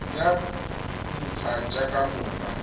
tsa ntlha tsa kamano ka